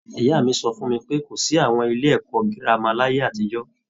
Ìyá mi sọ fún mi pé, kò sí àwọn ilé ẹ̀kọ́ girama láyé àtijọ́